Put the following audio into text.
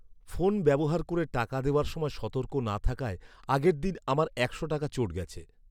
Phone ব্যবহার করে টাকা দেওয়ার সময় সতর্ক না থাকায় আগের দিন আমার একশো টাকা চোট গেছে।